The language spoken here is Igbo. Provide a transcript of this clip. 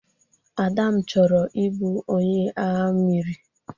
Adam chọrọ ị bụ onye agha mmiri.